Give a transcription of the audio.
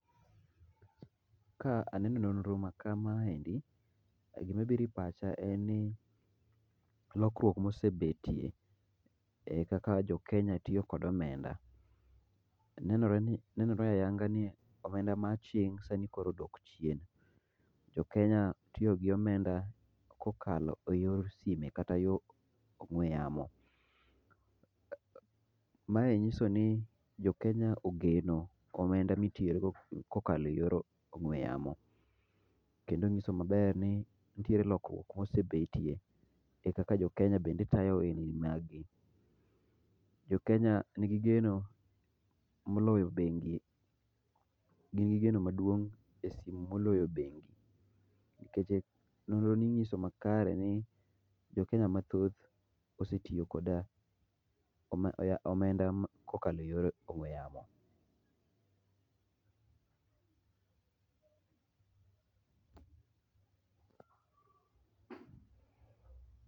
Ka aneno nonro ma kamae to gima biro e pacha en ni lokruok mosebetie kaka jo Kenya tiyo kod omenda. Nenore ayanga ni omenda ma aching' sani koro odok chien. Jo Kenya tiyo gi omenda kokalo eyor sime kata yor ong'ue yamo. Mae nyiso ni jo Kenya ogeno omenda mitiyo go kokalo eyor ong'ue yamo. Kendo nyiso maber ni nitiere lokruok ma osebetie e kaka jo Kenya bende tayo ohel ni magi. Jo Kenya nigi geno moloyo bengi, gin gi geno maduong' e simu moloyo bengi nikech nonro ni nyiso makare nikech jo Kenya mathoth osetiyo kod omenda kokalo e yor ong'ue yamo.